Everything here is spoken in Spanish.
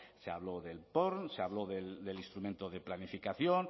se habló del porn se habló del instrumento de planificación